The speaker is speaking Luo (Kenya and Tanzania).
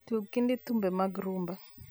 tug kind thumbe mag rumba